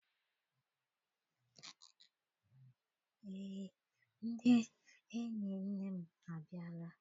Eé, ndị enyi nne m abịala.